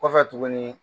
Kɔfɛ tuguni